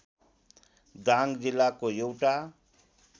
दाङ जिल्लाको एउटा